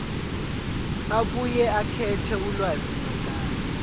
abuye akhethe ulwazimagama